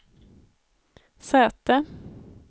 säte